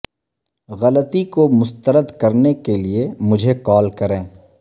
غلطی کو مسترد کرنے کے لئے مجھے کال کریں